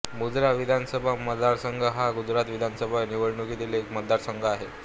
मजुरा विधानसभा मतदारसंघ हा गुजरात विधानसभा निवडणुकीतील एक मतदारसंघ आहे